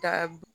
Da